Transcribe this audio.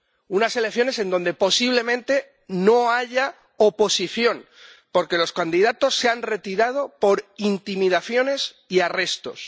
unas elecciones donde, posiblemente, no haya oposición, porque los candidatos se han retirado por intimidaciones y arrestos.